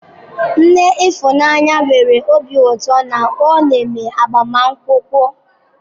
Nne Ifunanya nwere obi ụtọ na ọ neme agbamakwụkwọ.